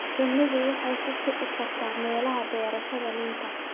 Shinnidu waxay ku kici kartaa meelaha beerashada liinta.